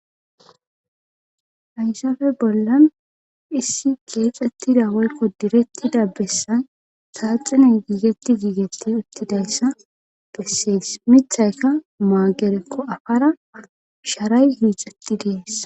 Hayssafe bollan issi geexettidawoykko direttida bessan kaaxinen giigetti giigetti uttidayssa bessees mithayka maagerekko afara sharay hiixetti dees.